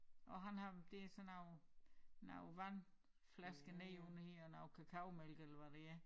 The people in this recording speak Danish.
Og han har det sådan nogle nogle vandflasker nedenunder her eller kakaomælk eller hvad det er